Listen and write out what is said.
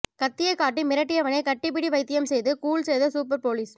கத்தியை காட்டி மிரட்டியவனை கட்டிப்பிடி வைத்தியம் செய்து கூல் செய்த சூப்பர் போலீஸ்